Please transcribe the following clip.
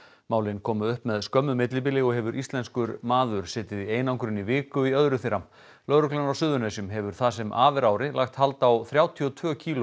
málin komu upp með skömmu millibili og hefur íslenskur maður setið í einangrun í viku í öðru þeirra lögreglan á Suðurnesjum hefur það sem af er ári lagt hald á þrjátíu og tvö kíló